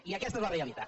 i aquesta és la realitat